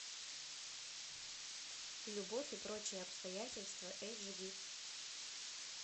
любовь и прочие обстоятельства эйч ди